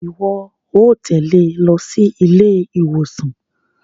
Iwọ óò tẹle ló sí ilé-ìwòsàn